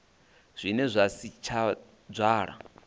zwine zwa si tsha dzwala